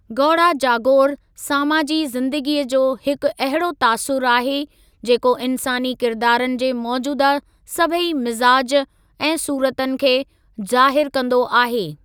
गौड़ा जागोर सामाजी ज़िंदगीअ जो हिकु अहिड़ो तासुरु आहे, जेको इन्सानी किरदारनि जे मौजूदह सभई मिज़ाज ऐं सूरतनि खे ज़ाहिरु कंदो आहे।